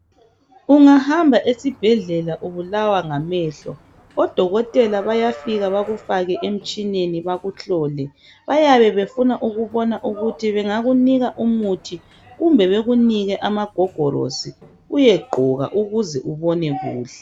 Ungahamba esibhedlela ubulawa ngamehlo, odokotela bayafika bekufake emtshineni bakuhlole. Bayabe befuna ukubona ukuthi bengakunika umuthi kumbe bekunike amagogolosi uyegqoka ukuze ubone kuhle.